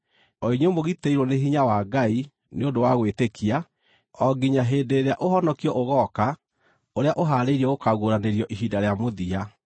o inyuĩ mũgitĩirwo nĩ hinya wa Ngai nĩ ũndũ wa gwĩtĩkia, o nginya hĩndĩ ĩrĩa ũhonokio ũgooka ũrĩa ũhaarĩirio gũkaaguũranĩrio ihinda rĩa mũthia.